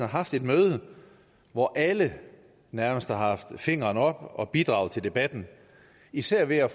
haft et møde hvor alle nærmest har haft fingeren oppe og bidraget til debatten især ved at